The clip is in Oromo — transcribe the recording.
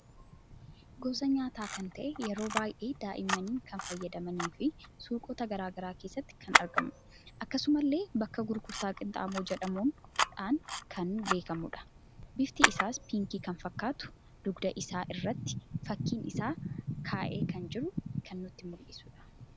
Gosa nyaata kan ta'e yeroo baay'ee daa'imni kan fayyadamanii fi suuqota garagaraa keessatti kan argamudha. Akkasumallee, bakka gurgurtaa qinxaaboo jedhamuudhan kan beekamudha. bifti isaas piinkii kan fakkatu dugda isaa irratti fakkiin isaa ka'ee kan jiru kan nutti muldhisudha.